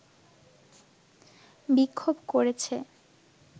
বিক্ষোভ করেছে